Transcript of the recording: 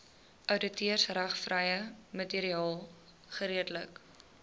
outeursregvrye materiaal geredelik